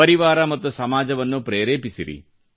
ಪರಿವಾರ ಮತ್ತು ಸಮಾಜವನ್ನೂ ಪ್ರೇರೆಪಿಸಿರಿ